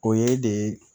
O ye de